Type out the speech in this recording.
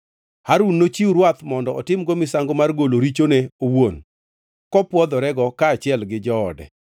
“Harun nochiw rwath mondo otimgo misango mar golo richone owuon kopwodhorego kaachiel gi joode.